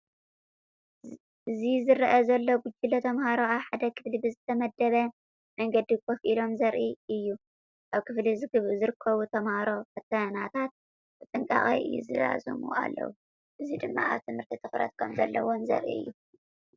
እዚ ዝረአ ዘሎ ጉጅለ ተምሃሮ ኣብ ሓደ ክፍሊ ብዝተወደበ መንገዲ ኮፍ ኢሎም ዘርኢ እዩ። ኣብ ክፍሊ ዝርከቡ ተማሃሮ ፈተናታት ብጥንቃቐ ይዛዝሙ ኣለዉ፡ እዚ ድማ ኣብ ትምህርቲ ትኹረት ከምዘለዎም ዘርኢ እዩ።